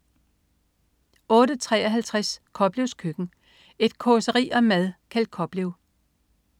08.53 Koplevs Køkken. Et causeri om mad. Kjeld Koplev